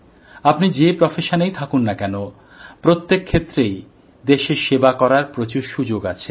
আপনি যে পেশায়ই থাকুন না কেন প্রত্যেক ক্ষেত্রেই দেশের সেবা করার প্রচুর সুযোগ আছে